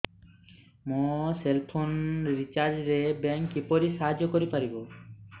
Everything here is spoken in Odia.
ମୋ ସେଲ୍ ଫୋନ୍ ରିଚାର୍ଜ ରେ ବ୍ୟାଙ୍କ୍ କିପରି ସାହାଯ୍ୟ କରିପାରିବ